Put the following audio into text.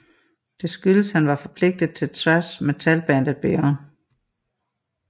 Det skyldes han var forpligtet til thrash metalbandet Beyond